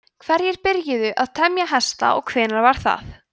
hverjir byrjuðu að temja hesta og hvenær var það